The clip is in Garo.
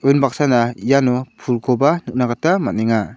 unbaksana iano pulkoba nikna gita man·enga.